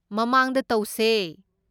ꯃꯃꯥꯡꯗ ꯇꯧꯁꯦ꯫